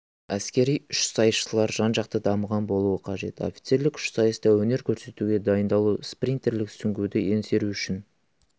әскери үшсайысшылар жан-жақты дамыған болуы қажет офицерлік үшсайыста өнер көрсетуге дайындалу спринтерлік сүңгуді еңсеру үшін